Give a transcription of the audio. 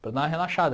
para dar uma relaxada.